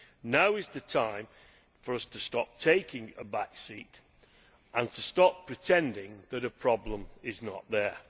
Now is the time for us to stop taking a back seat and to stop pretending that a problem is not there.